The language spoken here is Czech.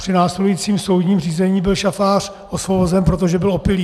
Při následujícím soudním řízení byl šafář osvobozen, protože byl opilý.